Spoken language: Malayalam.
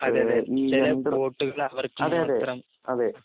അതെ അതേ ചില വോട്ടുകൾ അവർക്ക് തന്നെ കിട്ടണം